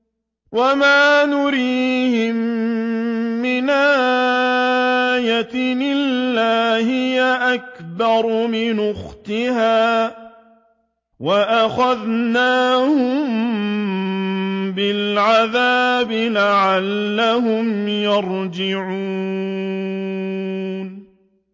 وَمَا نُرِيهِم مِّنْ آيَةٍ إِلَّا هِيَ أَكْبَرُ مِنْ أُخْتِهَا ۖ وَأَخَذْنَاهُم بِالْعَذَابِ لَعَلَّهُمْ يَرْجِعُونَ